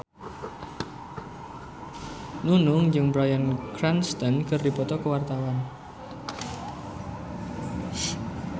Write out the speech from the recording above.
Nunung jeung Bryan Cranston keur dipoto ku wartawan